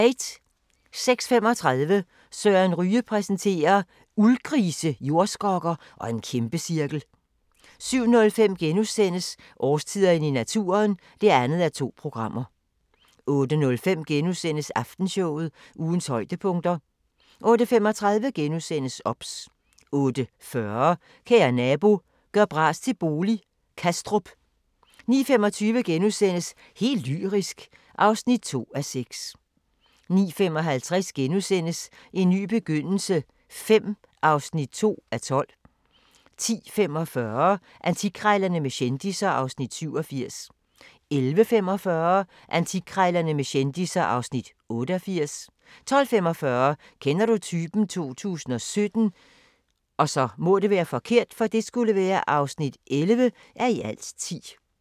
06:35: Søren Ryge præsenterer: Uldgrise, jordskokker og en kæmpecirkel 07:05: Årstiderne i naturen (2:2)* 08:05: Aftenshowet – ugens højdepunkter * 08:35: OBS * 08:40: Kære nabo – gør bras til bolig – Kastrup 09:25: Helt lyrisk (2:6)* 09:55: En ny begyndelse V (2:12)* 10:45: Antikkrejlerne med kendisser (Afs. 87) 11:45: Antikkrejlerne med kendisser (Afs. 88) 12:45: Kender du typen? 2017 (11:10)